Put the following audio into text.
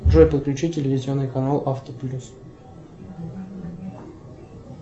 джой подключи телевизионный канал авто плюс